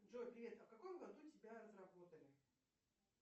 джой привет а в каком году тебя разработали